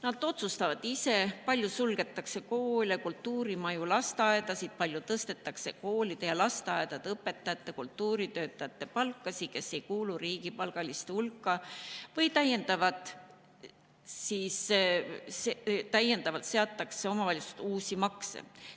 Nad otsustavad ise, kui palju suletakse koole, kultuurimaju, lasteaedasid, kui palju tõstetakse koolide ja lasteaedade õpetajate ning nende kultuuritöötajate palka, kes ei kuulu riigipalgaliste hulka, või kui palju täiendavalt seatakse omavalitsustele uusi makse.